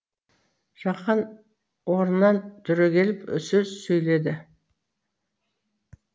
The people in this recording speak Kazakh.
жақан орнынан түрегеліп сөз сөйледі